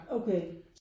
Okay